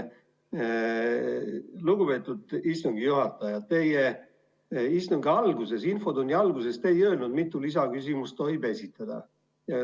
Lugupeetud istungi juhataja, te infotunni alguses ei öelnud, kui mitu lisaküsimust tohib esitada.